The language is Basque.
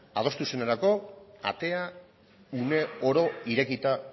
adostu zenerako atea une oro irekita